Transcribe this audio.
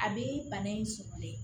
A bɛ bana in sɔrɔlen